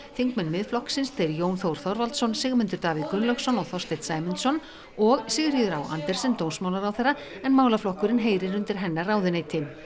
þingmenn Miðflokksins þeir Jón Þór Þorvaldsson Sigmundur Davíð Gunnlaugsson og Þorsteinn Sæmundsson og Sigríður á Andersen dómsmálaráðherra en málaflokkurinn heyrir undir hennar ráðuneyti